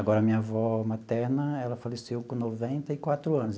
Agora, a minha avó materna, ela faleceu com noventa e quatro anos.